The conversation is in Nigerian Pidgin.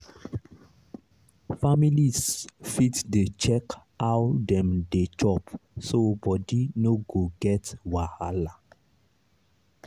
families fit dey check how dem dey chop so body no go get wahala.